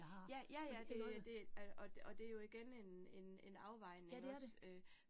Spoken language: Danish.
Ja, ja ja det det øh og og det jo igen en en en afvejning også øh